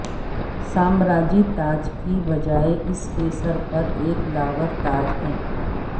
سامراجی تاج کی بجائے اس کے سر پر ایک لاور تاج ہے